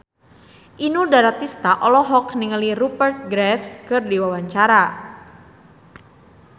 Inul Daratista olohok ningali Rupert Graves keur diwawancara